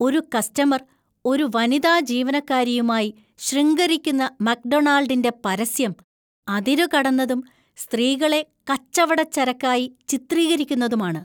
ഒരു കസ്റ്റമര്‍ ഒരു വനിതാ ജീവനക്കാരിയുമായി ശൃംഗരിക്കുന്ന മക്ഡൊണാൾഡിന്‍റെ പരസ്യം അതിരുകടന്നതും സ്ത്രീകളെ കച്ചവടച്ചരക്കായി ചിത്രീകരിക്കുന്നതുമാണ്.